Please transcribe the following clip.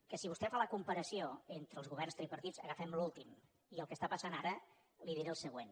que si vostè fa la comparació entre els governs tripartits agafem l’últim i el que està passant ara li diré el següent